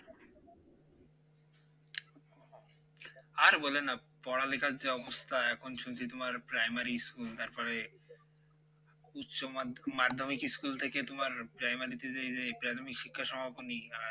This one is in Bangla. আর বইলেন না পড়ালেখার যা অবস্থা এখন শুনছি তোমার primary school তারপরে উচ্চ মাধ্য মাধ্যমিক স্কুল থেকে তোমার primary তে এই যে প্রাথমিক শিক্ষা সমাপনী আর